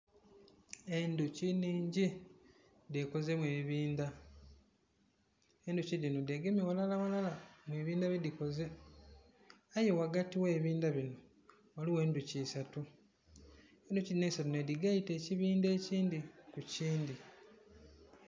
Endhuki nnhingi dhekozemu ebibindha, endhuki dhino dhegemye ghalala ghalala mubibindhi byedhikoze aye ghagati oghe bibindha bino ghaligho endhuki isatu endhuki dhino nedhigaita ekibindha ekindhi kukindhi.